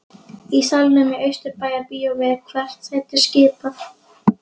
Í salnum í Austurbæjarbíói er hvert sæti skipað.